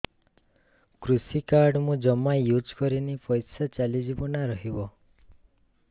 କୃଷି କାର୍ଡ ମୁଁ ଜମା ୟୁଜ଼ କରିନି ପଇସା ଚାଲିଯିବ ନା ରହିବ